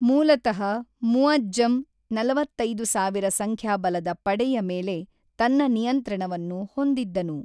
ಮೂಲತಃ, ಮುಅಜ಼್ಜಮ್ ನಲವತ್ತೈದು ಸಾವಿರ ಸಂಖ್ಯಾಬಲದ ಪಡೆಯ ಮೇಲೆ ತನ್ನ ನಿಯಂತ್ರಣವನ್ನು ಹೊಂದಿದ್ದನು.